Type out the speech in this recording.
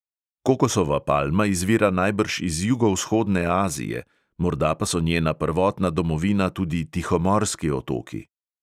Kokosova palma izvira najbrž iz jugovzhodne azije, morda pa so njena prvotna domovina tudi tihomorski otoki.